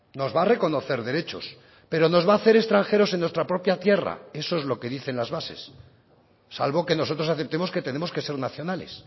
nos va a reconocer derechos pero nos va a hacer extranjeros en nuestra propia tierra eso es lo que dicen las bases salvo que nosotros aceptemos que tenemos que ser nacionales